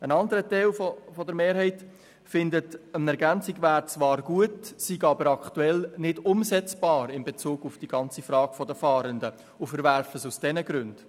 Ein anderer Teil der Mehrheit findet, eine Ergänzung wäre zwar gut, diese wäre aber aktuell nicht umsetzbar in Bezug auf die ganze Frage der Fahrenden, und verwirft sie aus diesen Gründen.